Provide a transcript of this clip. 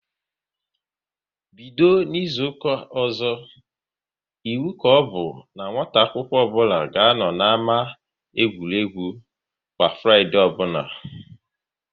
Bido n'izuka ọzọ, iwu ka ọbụ n'nwata akwụkwọ nwata akwụkwọ ọbụla ga anọ n'ámá egwuregwu kwa Fraịdee ọbụla!